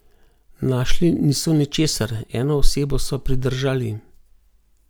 Našli niso ničesar, eno osebo so pridržali.